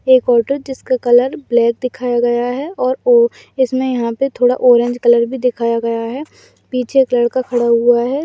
एक औटो जिसका colour black दिखाया गया है और वो इसमें यहाँ पे थोड़ा ऑरेंज कलर भी दिखाया गया है पीछे एक लड़का खड़ा हुआ है।